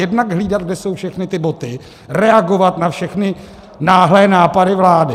Jednak hlídat, kde jsou všechny ty boty, reagovat na všechny náhlé nápady vlády.